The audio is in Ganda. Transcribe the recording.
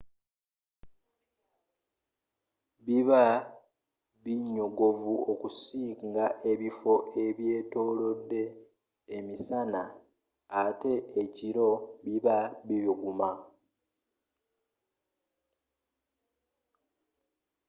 biba binyogovu okusinga ebifo bye'byetolode emisana ate ekiro biba bibuguma